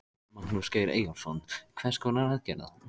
Björn Þorláksson: Hvað finnst þér um það?